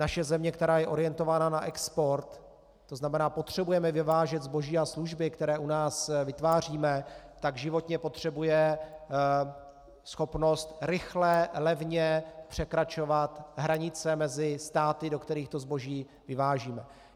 Naše země, která je orientována na export, to znamená, potřebujeme vyvážet zboží a služby, které u nás vytváříme, tak životně potřebuje schopnost rychle, levně překračovat hranice mezi státy, do kterých to zboží vyvážíme.